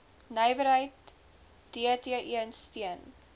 nywerheid dti steun